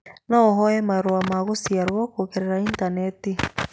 No ũhoe marũa ma gũciarwo kũgerera initaneti